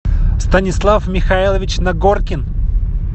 станислав михайлович нагоркин